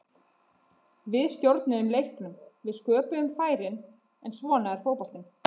Við stjórnuðum leiknum, við sköpuðum færin, en svona er fótboltinn.